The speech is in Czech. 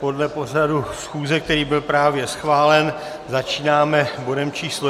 Podle pořadu schůze, který byl právě schválen, začínáme bodem číslo